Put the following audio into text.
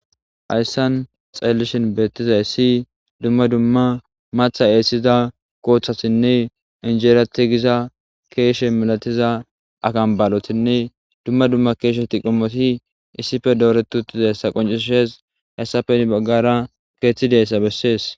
Hayssan xeelishin beetizayssi dumma dumma maththa essiza kooththatinne injera tigiza keeshe malatiza akamballotinne dumma dumma keesheti qommoti issipe dooreti uttidayssa qoncisees hayssape heni baggara keeththey de'izayssa bessees.